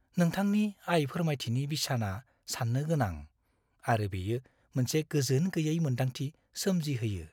नोंथांनि आय फोरमायथिनि बिसाना सान्नो गोनां, आरो बेयो मोनसे गोजोन गैयै मोन्दांथि सोमजिहोयो।